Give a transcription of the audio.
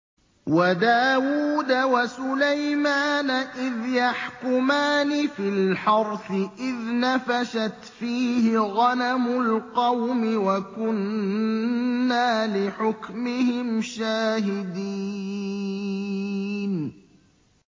وَدَاوُودَ وَسُلَيْمَانَ إِذْ يَحْكُمَانِ فِي الْحَرْثِ إِذْ نَفَشَتْ فِيهِ غَنَمُ الْقَوْمِ وَكُنَّا لِحُكْمِهِمْ شَاهِدِينَ